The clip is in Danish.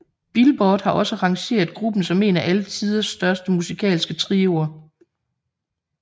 Billboard har også rangeret gruppen som en af alle tiders største musikalske trioer